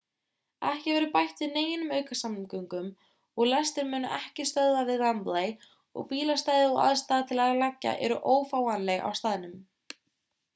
ekki verður bætt við neinum aukasamgöngum og lestir munu ekki stöðva við wembley og bílastæði og aðstaða til að leggja eru ófáanleg á staðnum